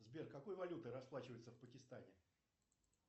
сбер какой валютой расплачиваются в пакистане